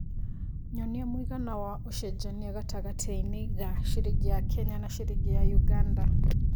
nyonĩa mũigana wa ũcenjanĩa gatagatiinĩ ga ciringi ya Kenya na ciringi ya Uganda.